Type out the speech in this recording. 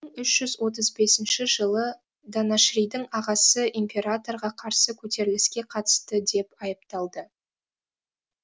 үш жүз отыз бесінші жылы данашридің ағасы императорға қарсы көтеріліске қатысты деп айыпталды